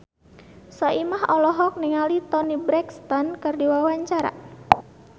Soimah olohok ningali Toni Brexton keur diwawancara